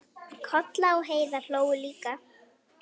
Kolla og Heiða hlógu líka.